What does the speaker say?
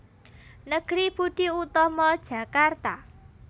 Negeri Budi Utomo Jakarta